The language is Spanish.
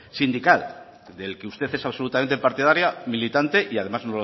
sindical del que usted es absolutamente partidaria militante y además